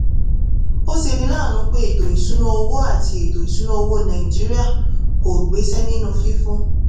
ó ṣeni láàánú pé ètò ìṣúnná owó àti ètò ìṣúnná owó nàìjíríà kò gbéṣẹ́ nínú fífún